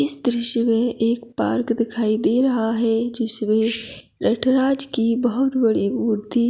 इस दृश्य में एक पार्क दिखाई दे रहा है जिसमें नटराज की बहुत बड़ी मूर्ति --